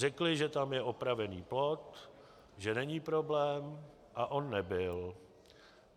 Řekli, že tam je opravený plot, že není problém, a on nebyl.